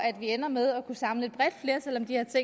vi ender med at kunne samle